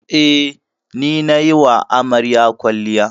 Eh, ni nayi wa amaryar kwalliya.